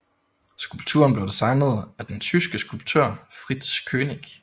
Skulpturen blev designet af den tyske skulptør Fritz Koenig